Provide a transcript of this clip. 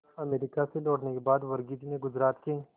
America से लौटने के बाद वर्गीज ने गुजरात के